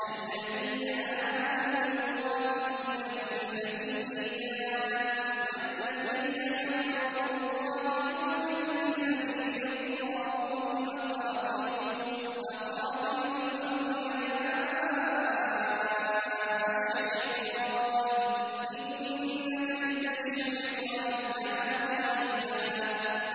الَّذِينَ آمَنُوا يُقَاتِلُونَ فِي سَبِيلِ اللَّهِ ۖ وَالَّذِينَ كَفَرُوا يُقَاتِلُونَ فِي سَبِيلِ الطَّاغُوتِ فَقَاتِلُوا أَوْلِيَاءَ الشَّيْطَانِ ۖ إِنَّ كَيْدَ الشَّيْطَانِ كَانَ ضَعِيفًا